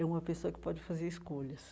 É uma pessoa que pode fazer escolhas.